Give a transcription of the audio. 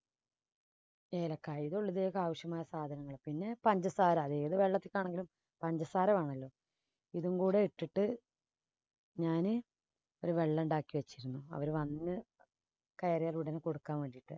ഏലക്കായ ആവശ്യമായ സാധനങ്ങള് പിന്നെ പഞ്ചസാര ഏത് വെള്ളത്തിനാണെങ്കിലും പഞ്ചസാര വേണമല്ലോ ഇതും കൂടി ഇട്ടിട്ട് ഞാന് ഒരു വെള്ളണ്ടാക്കി വെച്ചിരുന്നു അവര് വന്നു കയറിയാൽ ഉടനെ കൊടുക്കാൻ വേണ്ടിയിട്ട്.